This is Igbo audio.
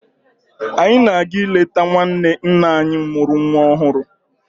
Anyị na-aga ịleta nwanne nne anyị mụrụ nwa ọhụrụ.